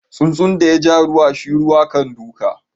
Tsuntsun da ya ja ruwa shi ruwa kan doka.